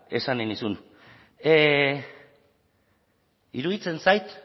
esan nahi nizun iruditzen zait